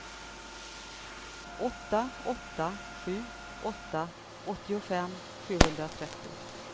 åtta åtta sju åtta åttiofem sjuhundratrettio